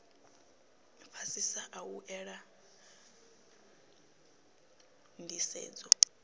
fhasisa a u ela nḓisedzo